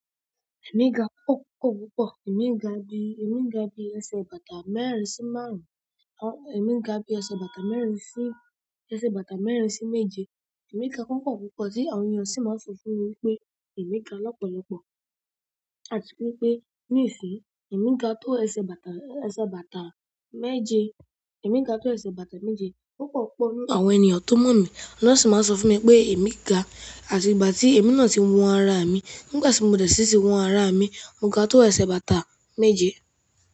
Èmi ga púpọ̀ púpọ̀ púpọ̀. Èmi ga bí, èmi ga bí ẹsẹ̀ bàtà mẹ́rin sí márùn-ún, èmi ga bí ẹsẹ̀ bàtà mẹ́rin sí, ẹsẹ̀ bàtà mẹ́rin sí méje. Èmi ga púpọ̀ púpọ̀ tí àwọn ènìyàn sì máa ń sọ fún mi wípé èmi ga lọ́pọ̀lọpọ̀. Àti wípé ní ìsìn, èmi ga tó ẹsẹ̀ bàtà, ẹsẹ̀ bàtà méje. Èmi ga tó ẹsẹ̀ bàtà méje. Púpọ̀ púpọ̀ nínú àwọn ènìyàn tó mọ̀ mí wọn sì máa ń sọ fún mi pé èmi ga. Àti ìgbà tí èmi náà ti ń wọnra mi, nígbà tí mo dẹ̀ sí ti wọnra mi, mo ga tó ẹsẹ̀ bàtà méje.